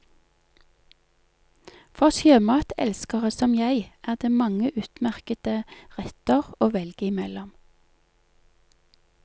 For sjømatelskere, som jeg, er det mange utmerkete retter å velge imellom.